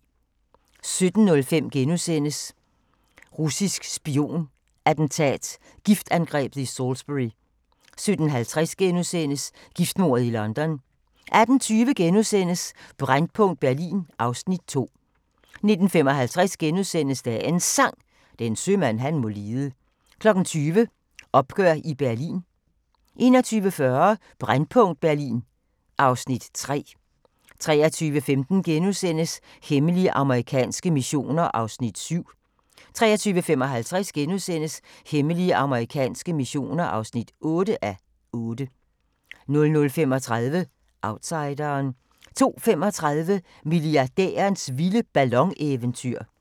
17:05: Russisk spion-attentat: Giftangrebet i Salisbury * 17:50: Giftmordet i London * 18:20: Brændpunkt Berlin (Afs. 2)* 19:55: Dagens Sang: Den sømand han må lide * 20:00: Opgør i Berlin 21:40: Brændpunkt Berlin (Afs. 3) 23:15: Hemmelige amerikanske missioner (7:8)* 23:55: Hemmelige amerikanske missioner (8:8)* 00:35: Outsideren 02:35: Milliardærens vilde ballon-eventyr